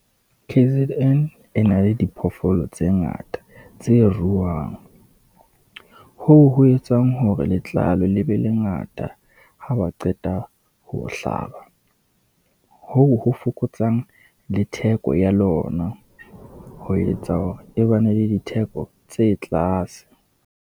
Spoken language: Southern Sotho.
K_Z_N e na le diphoofolo tse ngata tse ruwang. Hoo ho etsang hore letlalo le be le ngata, ha ba qeta ho hlaba, hoo ho fokotsang le theko ya lona, ho etsa hore e ba ne le ditheko tse tlase.